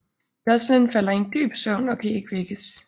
Joeclyn falder i en dyb søvn og kan ikke vækkes